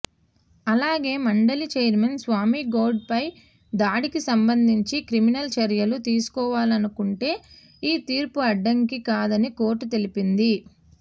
అలాగే మండలి చైర్మన్ స్వామిగౌడ్పై దాడికి సంబంధించి క్రిమినల్ చర్యలు తీసుకోవాలనుకుంటే ఈ తీర్పు అడ్డంకి కాదని కోర్టు తెలిపింది